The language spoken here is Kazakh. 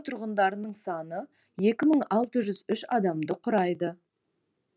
тұрғындарының саны екі мың алты жүз үш адамды құрайды